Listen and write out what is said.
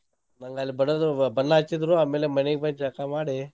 ನಂಗ್ ಅಲ್ ಬಡ್ದು ಬನ್ನಾ ಹಚ್ಚಿದ್ರು ಆಮೇಲೆ ಮನೀಗ್ ಬಂದ್ ಜಳ್ಕಾ ಮಾಡಿ.